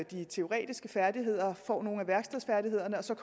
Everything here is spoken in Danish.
de teoretiske færdigheder får nogle af værkstedsfærdighederne og så